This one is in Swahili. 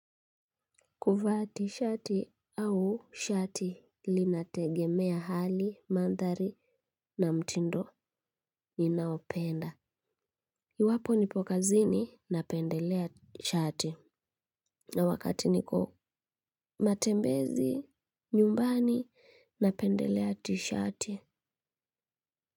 Kuvaa ti shati au shati linategemea hali, mandhari na mtindo ninaopenda. Iwapo nipo kazini napendelea shati. Na wakati niko matembezi nyumbani napendelea tishati.